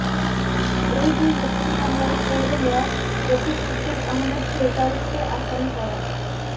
ওই দুই হত্যা মামলায় পৌর মেয়র রফিক উদ্দিন আহম্মেদ ফেরদাউসকে আসামি করা